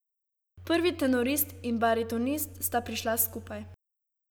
Prvi tenorist in baritonist sta prišla skupaj.